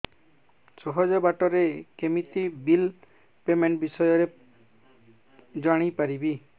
ସହଜ ବାଟ ରେ କେମିତି ବିଲ୍ ପେମେଣ୍ଟ ବିଷୟ ରେ ଜାଣି ପାରିବି